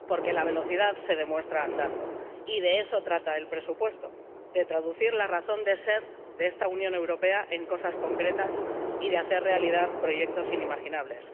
Porque la velocidad se demuestra andando, y de eso trata el presupuesto, de traducir la razón de ser de esta Unión Europea en cosas concretas y de hacer realidad proyectos inimaginables.